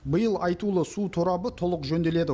биыл айтулы су торабы толық жөнделеді